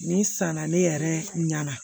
Nin san na ne yɛrɛ ɲɛna